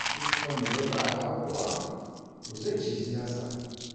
Duk wanda ya bi arha kuwa, to zai ciji yatsa.